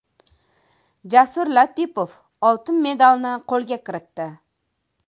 Jasur Latipov oltin medalni qo‘lga kiritdi.